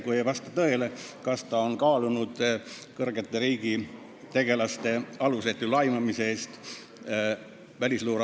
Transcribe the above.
Kui see ei vasta tõele, siis kas ta on kaalunud Välisluureameti peadirektori vallandamist kõrgete riigitegelaste alusetu laimamise eest?